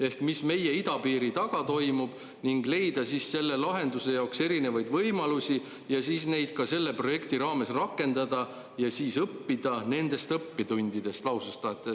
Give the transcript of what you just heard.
Ehk mis meie idapiiri taga toimub ning leida siis selle lahenduse jaoks erinevaid võimalusi ja siis neid ka selle projekti raames rakendada ja siis õppida nendest õppetundidest," lausus ta.